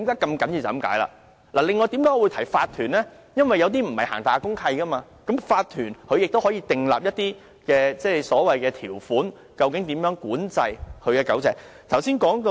至於我提及法團，是因為有些大廈並沒有公契，而法團可以訂立一些條款，以規管住戶飼養狗隻的事宜。